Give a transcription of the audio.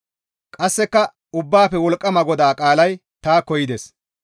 Qasseka Ubbaafe Wolqqama GODAA qaalay taakko yides;